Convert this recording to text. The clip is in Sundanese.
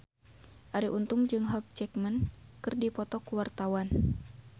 Arie Untung jeung Hugh Jackman keur dipoto ku wartawan